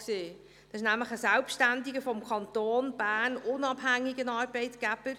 Sie ist nämlich ein selbstständiger, vom Kanton Bern unabhängiger Arbeitgeber.